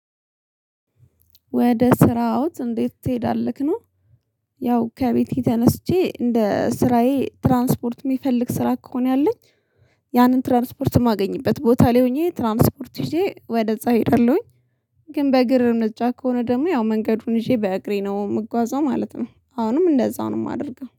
ወደ ስራዎት እንዴት ትሄዳለህ ነው? ያው ከቤቴ ተነስቼ እንደ ስራዬ ትራንስፖርት የሚፈልግ ስራ ከሆነ ያለኝ ያንን ትራንስፖርት የማገኝበት ቦታ ላይ ሆኜ ትራንስፖርት ይዤ ወደዛ እሄዳለሁኝ። ግን በእግር እርምጃ ከሆነ ደግሞ ያው መንገዱን ይዤ በእግሬ ነው የምጓዘው ማለት ነው። አሁንም እንደዛው ነው የማደርገው